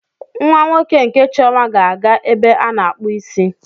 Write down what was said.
Nwa nwoke nke Chioma ga-aga ebe a na-akpụ isi.